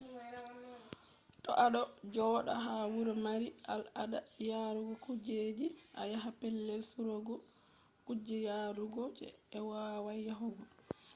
to a ɗo joɗa ha wuro mari al ada yarugo kujeji a yaha pellel surugo kuje yarugo je i wowai yahugo